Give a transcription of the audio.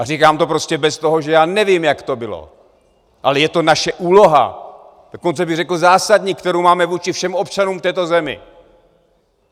A říkám to prostě bez toho, že já nevím, jak to bylo, ale je to naše úloha, dokonce bych řekl zásadní, kterou máme vůči všem občanům v této zemi.